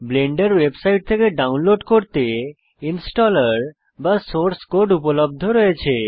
Blender website থেকে download করতে installer বা সোর্স কোড উপলব্ধ রয়েছে